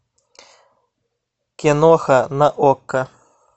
киноха на окко